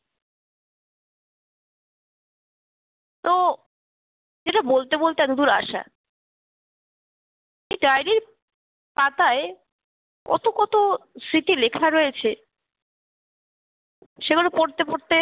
তো যেটা বলতে বলতে এতদূর আসা, এ diary র পাতায় কত কত স্মৃতি লেখা রয়েছে সেগুলো পড়তে পড়তে